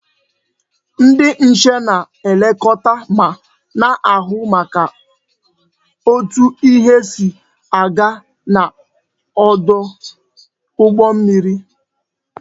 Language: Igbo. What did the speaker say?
Ndi nche na-elekota ma na-ahu maka otu ihe si aga n'odu ugbo mmiri